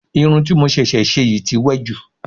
Irun ti mo ṣẹ̀ṣẹ̀ ṣe yìí tí wẹ́ jù